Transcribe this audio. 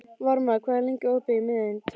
Varmar, hvað er lengi opið í Miðeind?